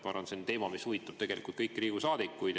Ma arvan, et see on teema, mis huvitab tegelikult kõiki Riigikogu saadikuid.